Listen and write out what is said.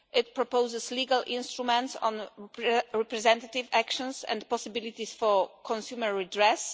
It proposes legal instruments on representative actions and possibilities for consumer redress.